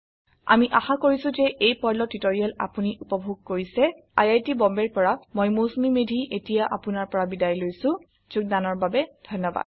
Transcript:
আমি আশা কৰিছো যে এই পাৰ্ল টিউটৰিয়েল আপোনি উপভোগ কৰিছে আই আই টী বম্বে ৰ পৰা মই মৌচুমী মেধী এতিয়া আপুনাৰ পৰা বিদায় লৈছো যোগদানৰ বাবে ধন্যবাদ